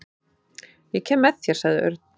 Ég kem með þér sagði Örn.